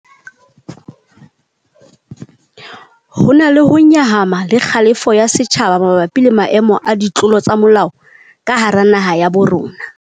Ho na le ho nyahama le kgalefo ya setjhaba mabapi le maemo a ditlolo tsa molao ka hara naha ya bo rona.